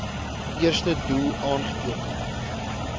eerste doel aangeteken